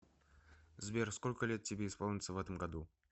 сбер сколько лет тебе исполнится в этом году